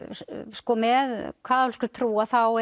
sko með kaþólskri trú þá